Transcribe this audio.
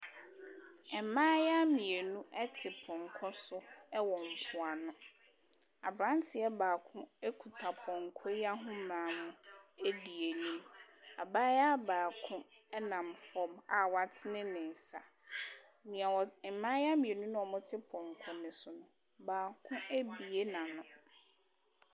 Mmayaa mmienu te pɔnkɔ so wɔ mpoano. Abranteɛ baako kuta pɔnkɔ yi ahomaa no mu edi n'anim. Abaayaa baako ɛnam fam a watene ne nsa. Nea ɔ mmaayaa mmienu a wɔte pɔnkɔ no so no, baako abue n'ano.